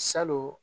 Salon